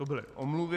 To byly omluvy.